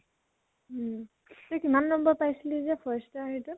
উম । তই কিমান নম্বৰ পাইছিলি যে first ৰ সেইতো?